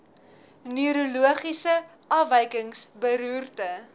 neurologiese afwykings beroerte